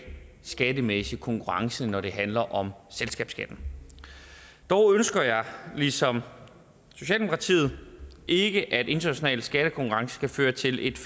skattemæssig konkurrence når det handler om selskabsskatten dog ønsker jeg ligesom socialdemokratiet ikke at den internationale skattekonkurrence skal føre til et